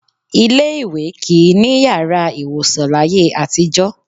Ilé-ìwé kì í ní yàrá ìwòsàn láyé àtijọ́